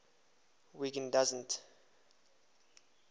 wiggin doesn t